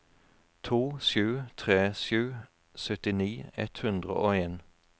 to sju tre sju syttini ett hundre og en